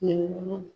Ɲininka